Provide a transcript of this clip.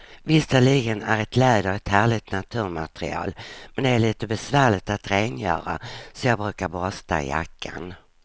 Visserligen är läder ett härligt naturmaterial, men det är lite besvärligt att rengöra, så jag brukar borsta jackan.